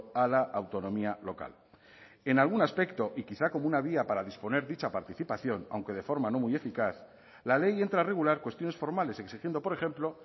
a la autonomía local en algún aspecto y quizá como una vía para disponer dicha participación aunque de forma no muy eficaz la ley entra a regular cuestiones formales exigiendo por ejemplo